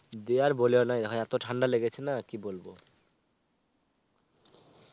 দিয়ে আর বলোনা ইহা এত ঠান্ডা লেগেছে না কি বলব